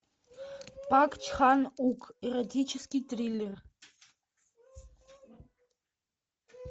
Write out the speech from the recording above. пак чхан ук эротический триллер